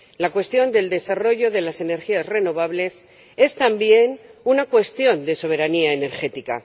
La cuestión del desarrollo de las energías renovables es, también, una cuestión de soberanía energética.